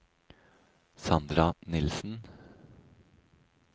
Sandra Nilsen